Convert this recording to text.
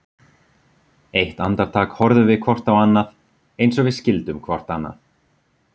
Eitt andartak horfðum við hvort á annað, eins og við skildum hvort annað.